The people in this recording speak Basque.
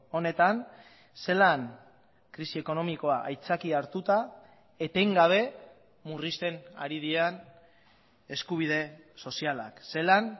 honetan zelan krisi ekonomikoa aitzakia hartuta etengabe murrizten ari diren eskubide sozialak zelan